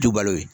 Dubaw ye